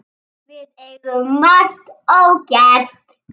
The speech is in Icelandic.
Við eigum margt ógert.